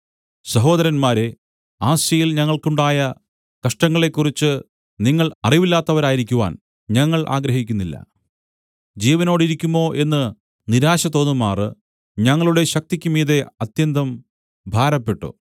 സഹോദരന്മാരേ ആസ്യയിൽ ഞങ്ങൾക്ക് ഉണ്ടായ കഷ്ടങ്ങളെക്കുറിച്ച് നിങ്ങൾ അറിവില്ലാത്തവരായിരിക്കുവാൻ ഞങ്ങൾ ആഗ്രഹിക്കുന്നില്ല ജീവനോടിരിക്കുമോ എന്ന് നിരാശ തോന്നുമാറ് ഞങ്ങളുടെ ശക്തിക്കുമീതെ അത്യന്തം ഭാരപ്പെട്ടു